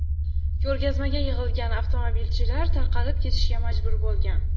Ko‘rgazmaga yig‘ilgan avtomobilchilar tarqalib ketishga majbur bo‘lgan.